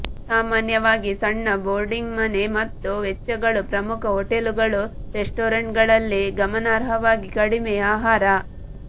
ಸಾಮಾನ್ಯವಾಗಿ ಸಣ್ಣ ಬೋರ್ಡಿಂಗ್ ಮನೆ ಮತ್ತು ವೆಚ್ಚಗಳು ಪ್ರಮುಖ ಹೋಟೆಲುಗಳು ರೆಸ್ಟೋರೆಂಟ್ಗಳಲ್ಲಿ ಗಮನಾರ್ಹವಾಗಿ ಕಡಿಮೆ ಆಹಾರ